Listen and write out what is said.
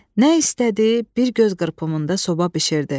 Nə istədi, bir göz qırpımında soba bişirdi.